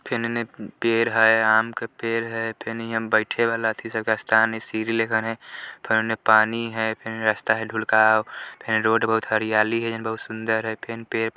फेर एन्ने पेड़ है आम का पेड़ है फेन इहाँ बैठे वाला एथी स्थान है सीढ़ी लेखा ओन्ने फेर उन्ना पानी है फेर उन्ना रास्ता है दुलकाउ फेर रोड बहुत हरयाली है जोवन बहुत सुंदर है फेन पेड़ --